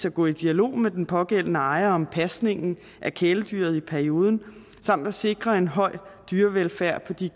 at gå i dialog med den pågældende ejer om pasningen af kæledyret i en periode samt at sikre en høj grad af dyrevelfærd på de